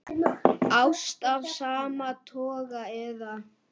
Ást af sama toga eða